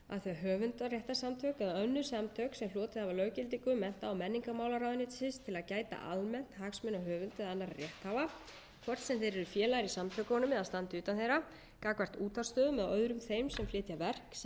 hlotið hafa löggildingu mennta og menningarmálaráðuneytisins til að gæta almennt hagsmuna höfunda og annarra rétthafa hvort sem þeir eru í félagar í samtökunum eða standa utan þeirra gagnvart útvarpsstöðvum og öðrum þeim sem flytja verk sem njóta höfundaverndar